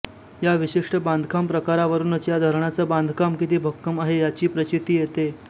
या विशिष्ट बांधकाम प्रकारावरुनच या धरणाचं बांधकाम किती भक्कम आहे याची प्रचिती येते